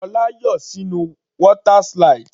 Ṣọlá yọ sínú water slide.